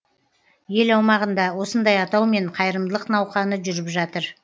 ел аумағында осындай атаумен қайырымдылық науқаны жүріп жатыр